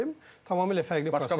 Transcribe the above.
Tamamilə fərqli proseslərdir.